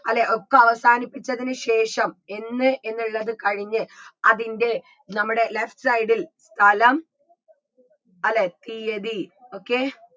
അല്ലേ ഒക്കെ അവസാനിപ്പിച്ചതിന് ശേഷം എന്ന് എന്നുള്ളത് കഴിഞ്ഞ് അതിൻറെ നമ്മുടെ left side ൽ സ്ഥലം അല്ലേ തീയ്യതി okay